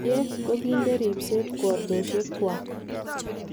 Kiev kokikonde ripset kwotoshek gwak